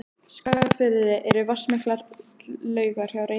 Skagafirði eru vatnsmiklar laugar hjá Reykjum og